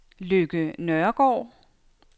Lykke Nørregaard